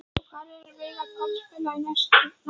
Og hvar vill Veigar Páll spila í nánustu framtíð?